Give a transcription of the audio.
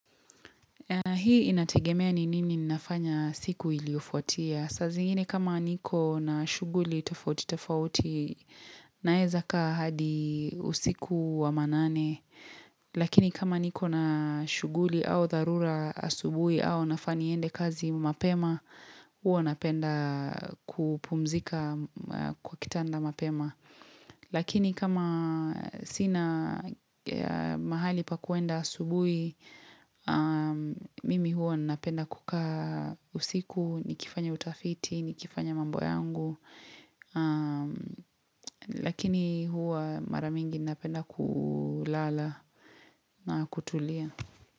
Hii inategemea ni nini ninafanya siku iliyofuatia. Saa zingine kama niko na shughuli tofauti tofauti naeza kaa hadi usiku wa manane. Lakini kama niko na shughuli au dharura asubuhi au nafaa niende kazi mapema, huwa napenda kupumzika kwa kitanda mapema. Lakini kama sina mahali pa kuenda asubuhi, mimi huwa napenda kukaa usiku, nikifanya utafiti, nikifanya mambo yangu. Lakini huwa mara mingi napenda kulala na kutulia.